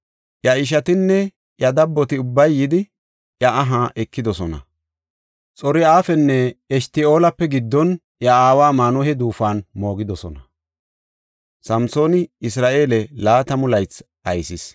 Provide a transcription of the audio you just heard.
Iya ishatinne iya dabboti ubbay yidi, iya aha ekidosona. Xor7afenne Eshta7oolape giddon iya aawa Maanuhe duufuwan moogidosona. Samsooni Isra7eele laatamu laythi aysis.